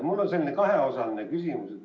Mul on selline kaheosaline küsimus.